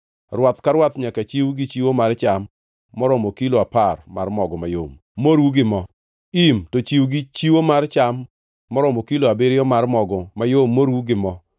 Rwath ka rwath nyaka chiw gi chiwo mar cham maromo kilo apar mar mogo mayom moru gi mo; im to chiw gi chiwo mar cham maromo kilo abiriyo mar mogo mayom moru gi mo;